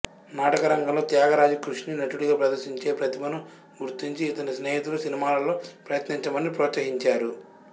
నాటక రంగంలో త్యాగరాజు కృషిని నటుడిగా ప్రదర్శించే ప్రతిభను గుర్తించి ఇతని స్నేహితులు సినిమాలలో ప్రయత్నించమని ప్రోత్సహించారు